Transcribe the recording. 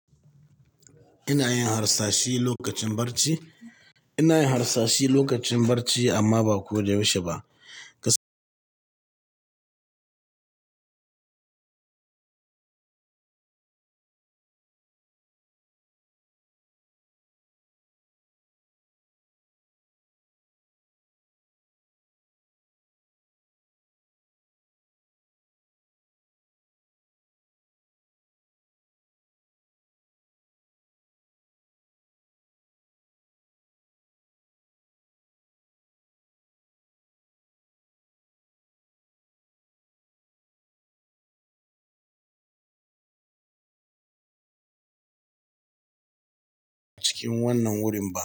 Ina yin harsashi lokacin barci. Ina yin harsashi lokacin barci amma ba ko da yaushe ba. Wannan wurin barci.